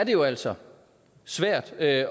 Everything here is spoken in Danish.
jo altså svært at